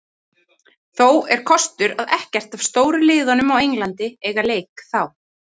Þó er kostur að ekkert af stóru liðunum á Englandi eiga leik þá.